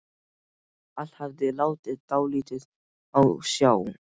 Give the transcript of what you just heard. Allt hafði látið dálítið á sjá.